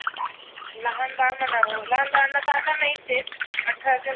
लहान बाळ म्हणावं लहान बाळांना तर आता नाहीच आहे तर अठरा